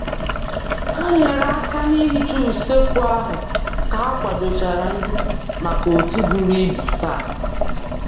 Ha nyere aka n'ihicha usekwu ahụ ka ha kwadochara nri maka otu buru ibu taa.